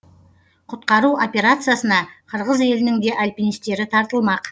құтқару операциясына қырғыз елінің де альпинистері тартылмақ